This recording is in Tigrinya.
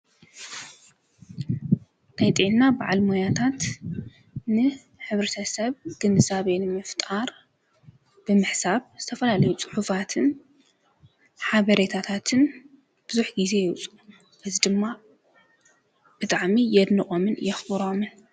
ናይ ጥዕና በዓል ሞያታትን ሕብርተ ሰብ ግንዛብ ንምፍጣር ብምሕሳብ ዝተፈላለዩ ጽሑፋትን ሓበሬታታትን ብዙኅ ጊዜ የብፅሑ በዝ ድማ ብጣዕሚ የድንቖምን የኽቡሮምን።